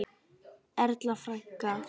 Erla frænka.